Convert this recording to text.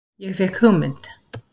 Ég fékk hugmynd.